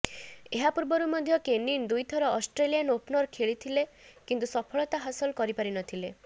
ଏହାପୂର୍ବରୁ ମଧ୍ୟ କେନିନ୍ ଦୁଇ ଥର ଅଷ୍ଟ୍ରେଲିଆନ୍ ଓପନରେ ଖେଳିଥିଲେ କିନ୍ତୁ ସଫଳତା ହାସଲ କରିପାରିନଥିଲେ